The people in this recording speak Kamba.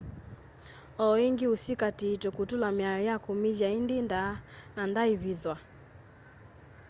o ĩngi ni usikatĩitwe kutula mĩao ya kumĩthya indĩ ndaa na ndaaĩvĩthwa